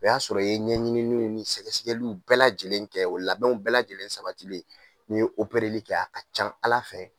O y'a sɔrɔ i ye ɲɛɲini ni sɛgɛsɛgɛliw bɛɛ lajɛlen kɛ o labɛn bɛɛ lajɛlen sabatilen ni ye opereli a can ala fɛ.